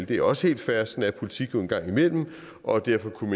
det er også helt fair sådan er politik jo en gang imellem og derfor kunne